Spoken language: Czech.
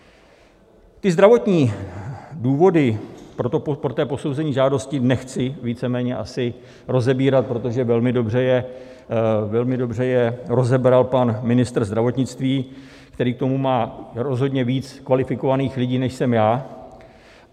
Ty zdravotní důvody pro to posouzení žádosti nechci víceméně asi rozebírat, protože velmi dobře je rozebral pan ministr zdravotnictví, který k tomu má rozhodně víc kvalifikovaných lidí, než jsem já.